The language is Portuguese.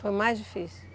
Foi mais difícil?